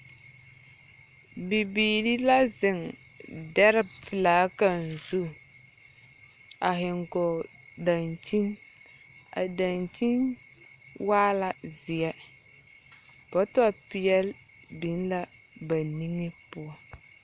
Bibiiri la zeŋ dare pelaa kaŋ zu. A he gɔɔl dankyin. A dankyin waa la zeɛ. Bɔtɔpeɛl biŋ la ba niŋe poɔ.